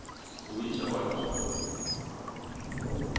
Louise Holgersen